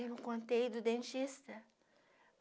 Eu não contei do dentista.